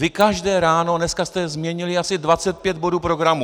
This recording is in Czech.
Vy každé ráno - dneska jste změnili asi 25 bodů programu.